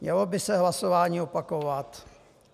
Mělo by se hlasování opakovat?